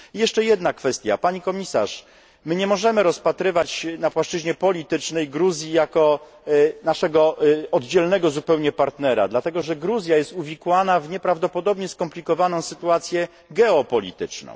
I jeszcze jedna kwestia pani komisarz, my nie możemy rozpatrywać na płaszczyźnie politycznej Gruzji jako naszego oddzielnego zupełnie partnera dlatego, że Gruzja jest uwikłana w nieprawdopodobnie skomplikowaną sytuację geopolityczną.